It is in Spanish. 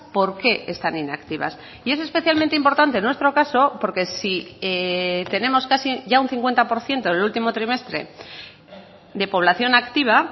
por qué están inactivas y es especialmente importante en nuestro caso porque si tenemos casi ya un cincuenta por ciento en el último trimestre de población activa